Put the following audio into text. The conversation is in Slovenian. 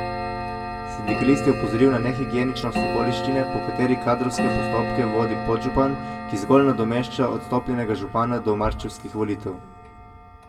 Sindikalist je opozoril na nehigieničnost okoliščine, po kateri kadrovske postopke vodi podžupan, ki zgolj nadomešča odstopljenega župana do marčevskih volitev.